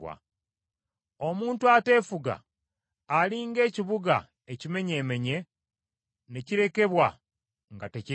Omuntu ateefuga ali ng’ekibuga ekimenyeemenye ne kirekebwa nga tekirina bbugwe.